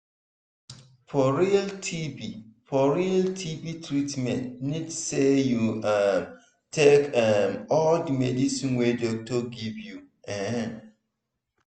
for realtb for realtb treatment need say u um take um all the medicine wey doctor give you um